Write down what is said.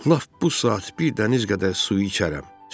Lap bu saat bir dəniz qədər su içərəm.